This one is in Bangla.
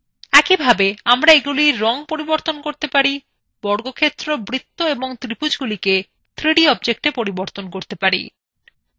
একইভাবে আমরা এগুলিকে রং করতে পারি বর্গক্ষেত্র বৃত্ত এবমং ত্রিভুজগুলিকে 3d objectswe পরিবর্তন করতে পারি